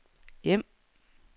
hjem